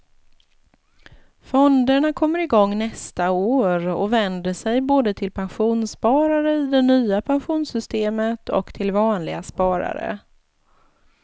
Fonderna kommer igång nästa år och vänder sig både till pensionssparare i det nya pensionssystemet och till vanliga sparare.